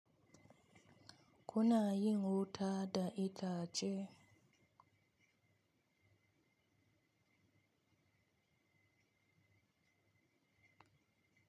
Kuna yin wuta da itace?